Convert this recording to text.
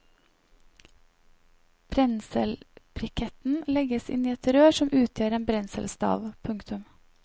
Brenselbrikketen legges inn i rør som utgjør en brenselstav. punktum